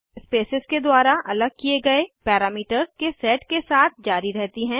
spaces के द्वारा अलग किये गए पैरामीटर्स के सेट के साथ जारी रहती हैं